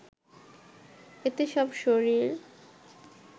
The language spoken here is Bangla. এতে সব শরীর